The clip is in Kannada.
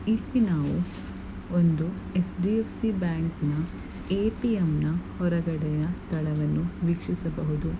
ಇಲ್ಲಿ ನಾವು ಒಂದು ಎಚ್‌_ಡಿ_ಎಫ್‌_ಸಿ ಬ್ಯಾಂಕ್‌ನ ಏ_ಟಿ_ಎಂ ನ ಹೊರಗಡೆಯ ಸ್ಥಳವನ್ನು ವೀಕ್ಷಿಸಬಹುದು.